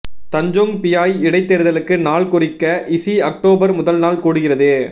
Tanjong Piai இடைத் தேர்தலுக்கு நாள் குறிக்க இசி அக்டோபர் முதல் நாள் கூடுகிறது